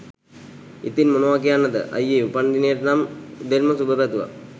ඉතින් මොනවා කියන්නද අයියේ උපන්දිනේට නම් උදෙන්ම සුබ පැතුවා.